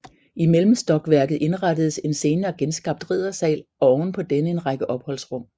I mellemstokværket indrettedes en senere genskabt riddersal og oven på denne en række opholdsrum